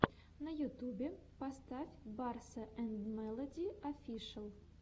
на ютюбе поставь барса энд мелоди офишэл